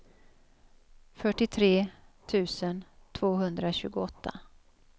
fyrtiotre tusen tvåhundratjugoåtta